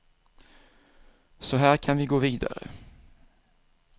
Så här kan vi gå vidare.